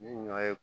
Ni ɲɔ ye